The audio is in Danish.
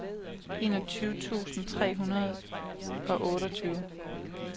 enogtyve tusind tre hundrede og otteogtyve